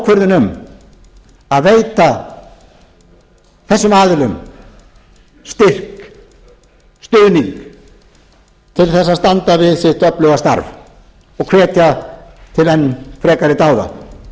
ákvörðun um að veita þessum aðilum styrk stuðning til að standa við sitt öfluga starf og hvetja til enn frekari dáða